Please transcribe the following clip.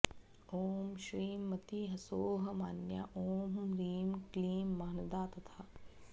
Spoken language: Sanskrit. ॐ श्रीं मति ह्सौः मान्या ॐ म्रीं क्लीं मानदा तथा